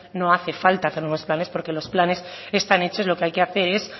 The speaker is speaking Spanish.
no hace falta hacer nuevos planes porque los planes están hechos lo que hay que hacer es